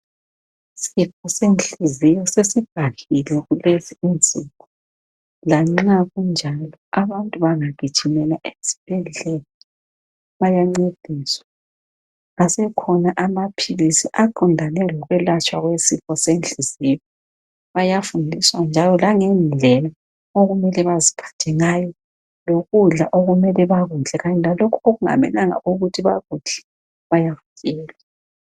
Isifo senhliziyo sesibhahile, kulezi imizimba. Lanxa kunjalo, abantu bangagijimela esibhedlela, bayancediswa. Asekhona amaphilisi aqondane lokwelatshwa kwesifo senhliziyo. Bayafundiswa njalo langendlela okumele baziphathe ngayo, lokudla okumele bakudle. Kanye lalokho okungamelanga ukuthi bakudle, bayakutshelwa.